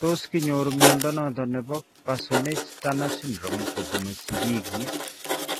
Tos kinyoru mnyondo noton nebo Parsonage Turner syndrome kobun sigiik iih ?